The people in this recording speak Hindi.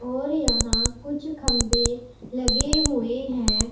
और यहां कुछ खम्भे लगे हुए है।